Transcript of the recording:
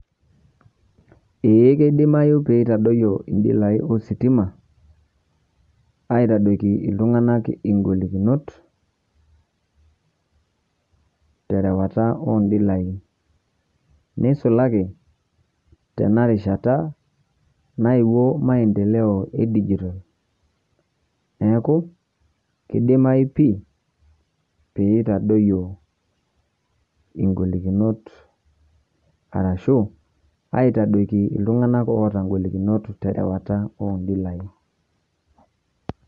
Eeh keidimayuu pee itadoiyo ndilai ositima aitadoki ltung'ana golikinot terewa ondilai. Neisulaaki tena rishaata naiyeuo maendeleo e dijital. Neeku keidimai pii pee itadooyo golikinot arashu aitadooki ltung'ana oetaa golikinot terewata ondilai.